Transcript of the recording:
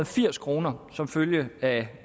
firs kroner som følge af